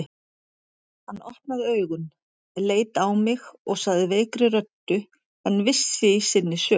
Hann opnaði augun, leit á mig og sagði veikri röddu en viss í sinni sök